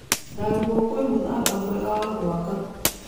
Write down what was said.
Ndarugu kwĩ mũthanga mwega wa gwaka.